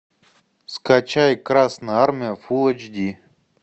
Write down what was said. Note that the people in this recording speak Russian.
скачай красная армия фулл эйч ди